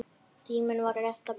Tíminn var rétt að byrja.